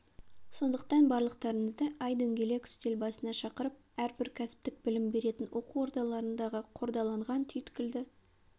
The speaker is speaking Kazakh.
сондықтан барлықтарыңызды ай дөңгелек үстел басына шақырып әрбір кәсіптік білім беретін оқу ордаларындағы қордаланған түйткілді